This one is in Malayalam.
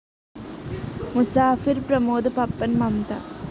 മുസാഫിർ പ്രമോദ് പപ്പൻ മംമ്ത